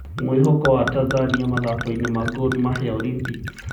Mwĩhoko wa Tanzania mathakoinĩ ma Gormahia Olympics